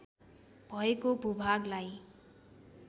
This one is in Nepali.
भएको भूभागलाई